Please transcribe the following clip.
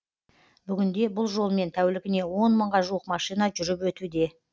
бүгінде бұл жолмен тәулігіне он мыңға жуық машина жүріп өтуде